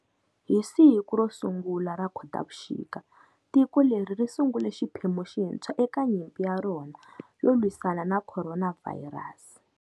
Hi siku ra 01 ra Khotavuxika tiko leri ri sungule xiphemu xintshwa eka nyimpi ya rona yo lwisana na Khoronavhayirasi.